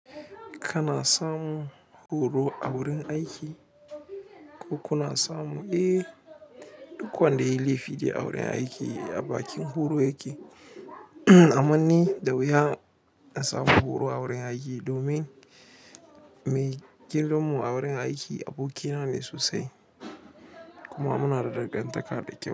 Kana samun horo a wurin aiki ko kuna samu? Eh, duk wanda ya yi laifi dai a wurin aiki a bakin horo yake. Aman ni da wuya in samu horo a wurin aiki domin me gidanmu a wurin aiki abokina ne sosai kuma munada dangantaka da kyau.